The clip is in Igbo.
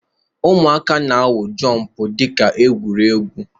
Ụmụaka na-awụ jọmpụ dika igwu egwu.